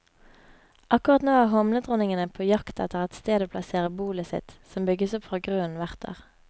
Akkurat nå er humledronningene på jakt etter et sted å plassere bolet sitt, som bygges opp fra grunnen hvert år.